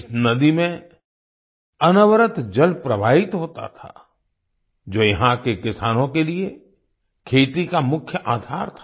इस नदी में अनवरत जल प्रवाहित होता था जो यहाँ के किसानों के लिए खेती का मुख्य आधार था